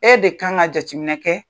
E de kan ŋa jateminɛ kɛ